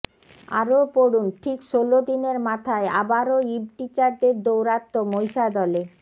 আরও পড়ুন ঠিক ষোল দিনের মাথায় আবারও ইভটিজারদের দৌরাত্ম্য মহিষাদলে